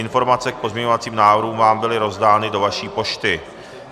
Informace k pozměňovacím návrhům vám byly rozdány do vaší pošty.